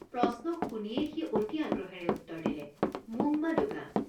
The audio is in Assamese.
প্ৰশ্ন শুনিয়েই সি অতি আগ্ৰহেৰে উত্তৰ দিলে মোংমা দোঙা।